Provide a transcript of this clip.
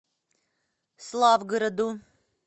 славгороду